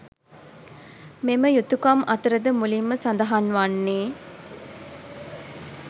මෙම යුතුකම් අතර ද මුලින් ම සඳහන් වන්නේ